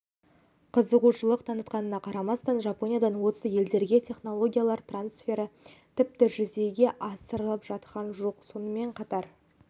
қызығушылық танытқанына қарамастан жапониядан осы елдерге технологиялар трансфері тіпті жүзеге асырылып жатқан жоқ сонымен қатар